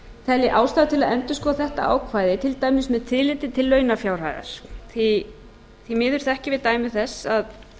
telji ástæðu til að endurskoða þetta ákvæði til dæmis með tilliti til launafjárhæðar því miður þekkjum við dæmi þess að